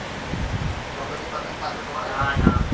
કપાયેલી પતંગ પાછળ દોડ્યા તમે